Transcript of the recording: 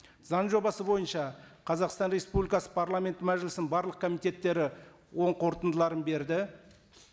заң жобасы бойынша қазақстан республикасы парламент мәжілісінің барлық комитеттері оң қорытындыларын берді